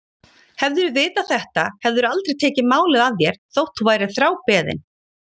Hefðirðu vitað þetta hefðirðu aldrei tekið málið að þér þótt þú værir þrábeðinn.